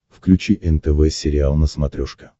включи нтв сериал на смотрешке